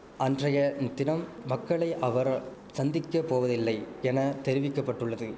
அன்றைய தினம் மக்களை அவர சந்திக்க போவதில்லை என தெரிவிக்க பட்டுள்ளது